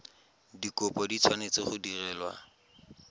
dikopo di tshwanetse go direlwa